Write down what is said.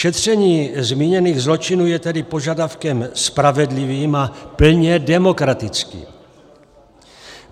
Šetření zmíněných zločinů je tedy požadavkem spravedlivým a plně demokratickým.